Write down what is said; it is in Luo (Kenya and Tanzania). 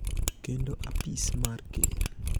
kendo apis mar Ker.